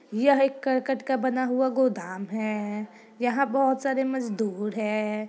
यह एक करकट का बना हुआ गोदाम है। यहाँ बहोत सारे मजदूर हैं।